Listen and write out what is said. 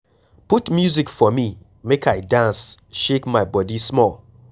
Put music for me make I dance shake my body small